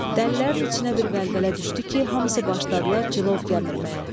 Dəlilərin içinə bir vəlvələ düşdü ki, hamısı başladılar cilov gəmirməyə.